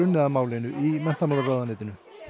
að málinu í menntamálaráðuneytinu